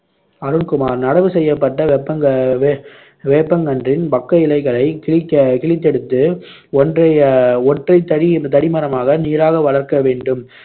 அருண்குமார் நடவு செய்யப்பட்ட வெப்பங்க~ வே~ வேப்பங்கன்றின் பக்க இலைகளைக் கிழிக்க கிழித்தெடுத்து, ஒன்றை அஹ் தடி ஒற்றை தடி மரமாக நேராக வளர்க்கவேண்டும்.